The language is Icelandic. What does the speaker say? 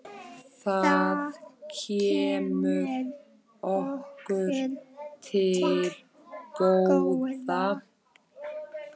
Það kemur okkur til góða.